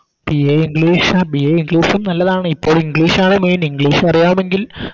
BAEnglish ആ BAEnglish ഉം നല്ലതാണ് ഇപ്പോൾ English ആണ് Main english അറിയാമെങ്കിൽ